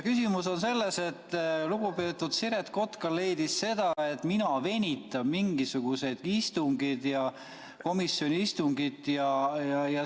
Küsimus on selles, et lugupeetud Siret Kotka leidis seda, et mina venitan mingisuguseid istungeid ja komisjoni istungit.